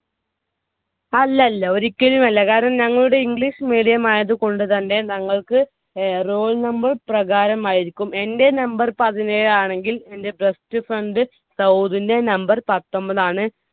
അല്ലല്ല. ഒരിക്കലുമല്ല. ഞങ്ങളുടെ English medium ആയതുകൊണ്ടുതന്നെ ഞങ്ങൾക്ക് roll number പ്രകാരമായിരിക്കും. എൻ്റെ number പതിനേഴാണെങ്കിൽ എൻ്റെ best friend സൗദിന്റെ numbe പത്തൊൻപതാണ്.